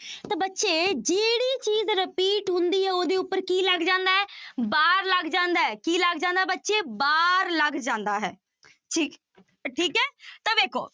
ਤਾਂ ਬੱਚੇ ਜਿਹੜੀ ਚੀਜ਼ repeat ਹੁੰਦੀ ਹੈ ਉਹਦੇ ਉੱਪਰ ਕੀ ਲੱਗ ਜਾਂਦਾ ਹੈ bar ਲੱਗ ਜਾਂਦਾ ਹੈ ਕੀ ਲੱਗ ਜਾਂਦਾ ਬੱਚੇ bar ਲੱਗ ਜਾਂਦਾ ਹੈ ਠੀਕ ਠੀਕ ਹੈ ਤਾਂ ਵੇਖੋ